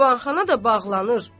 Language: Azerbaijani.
Divanxana da bağlanır.